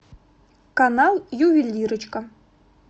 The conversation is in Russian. канал ювелирочка